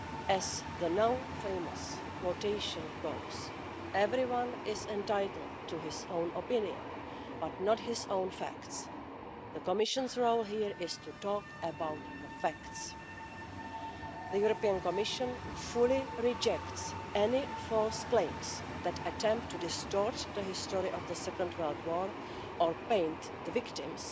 As the now-famous quotation goes everyone is entitled to his own opinion, but not his own facts'. The Commission's role here is to talk about the facts. The European Commission fully rejects any false claims that attempt to distort the history of the Second World War or paint the victims,